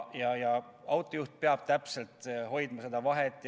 Autojuht peab täpselt hoidma teatud vahet.